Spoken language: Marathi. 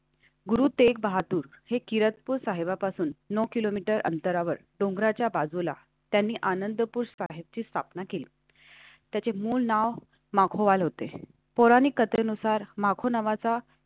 गुरु तेग बहादूर हे किरातपूर साहिब पासून नऊ kilometer अंतरावर डोंगराच्या बाजूला त्यांनी आनंदपुष्प आहेतची स्थापना केली. त्याचे मूळ नाव मागवले होते. पौराणिक कथेनुसार मागून नाव वाचा.